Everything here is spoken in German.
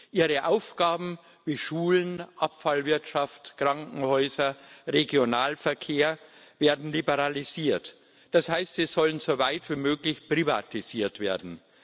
Ihre Aufgaben wie Schulen, Abfallwirtschaft, Krankenhäuser, Regionalverkehr werden liberalisiert, das heißt, sie sollen so weit wie möglich privatisiert werden.